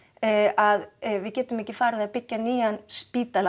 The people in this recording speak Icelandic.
að við getum ekki farið að byggja nýjan spítala